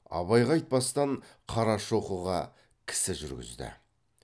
абайға айтпастан қарашоқыға кісі жүргізді